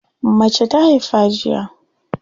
Mace ta haifa jiya.